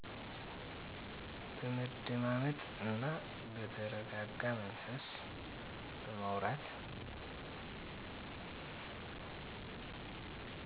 በመደማመጥ እና በተረጋጋ መንፈስ በማውራት